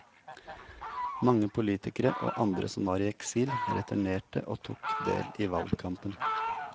Mange politikere og andre som var i eksil returnerte og tok del i valgkampen.